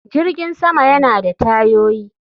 Jirgin sama yana da tayoyi